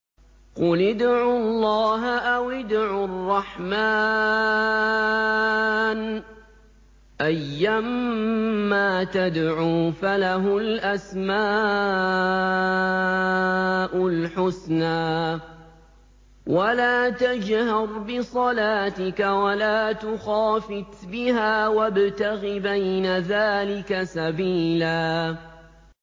قُلِ ادْعُوا اللَّهَ أَوِ ادْعُوا الرَّحْمَٰنَ ۖ أَيًّا مَّا تَدْعُوا فَلَهُ الْأَسْمَاءُ الْحُسْنَىٰ ۚ وَلَا تَجْهَرْ بِصَلَاتِكَ وَلَا تُخَافِتْ بِهَا وَابْتَغِ بَيْنَ ذَٰلِكَ سَبِيلًا